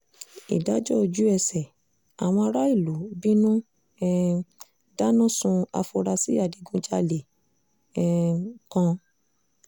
ìdájọ́ ojú-ẹsẹ̀ àwọn aráàlú bínú um dáná sun àfúráṣí adigunjalè um kan